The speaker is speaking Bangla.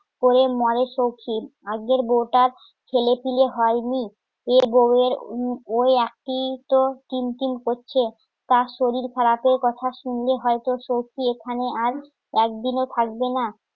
করে মরে ফকির আগের বউটা ছেলে পিলে হয় নি এ বউয়ের ওই একিই তো কিল পিল করছে তার শরীর খারাপের কথা শুনলে হয়তো সউখি এখানে আর একদিনও থাকবে না